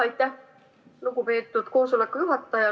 Aitäh, lugupeetud koosoleku juhataja!